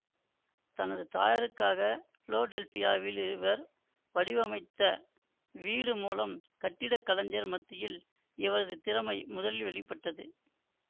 தனது தாயாருக்காக பிலோடெல்பியாவில் இவர் வடிவமைத்த வீடு மூலம் கட்டிடக்கலைஞர் மத்தியில் இவரது திறமை முதலில் வெளி பட்டது